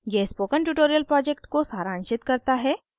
यह spoken tutorial project को सारांशित करता है